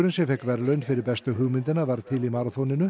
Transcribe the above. sem fékk verðlaun fyrir bestu hugmyndina varð til í